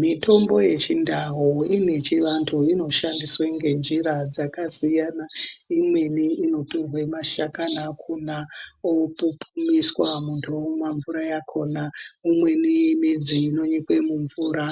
Mitombo yechindau ine chivantu inoshandiswe ngenjira dzakasiyana. Imweni inotorwe mashakani akhona opupiswa muntu omwa mvura yakhona. Imweni midzi inonyikwe mumvura,